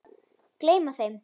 Gleyma þeim.